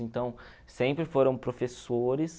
Então, sempre foram professores.